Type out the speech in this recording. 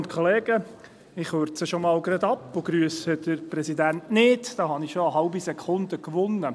Ich kürze schon gerade einmal ab, und grüsse den Präsidenten nicht, dann habe ich bereits eine halbe Sekunde gewonnen.